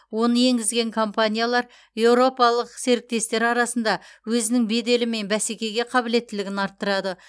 оны енгізген компаниялар еуропалық серіктестер арасында өзінің беделі мен бәсекеге қабілеттілігін арттырады